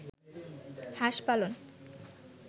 হাস পালন